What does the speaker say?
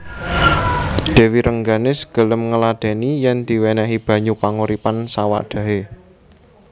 Dèwi Rengganis gelem ngladèni yèn diwènèhi banyu panguripan sawadhahé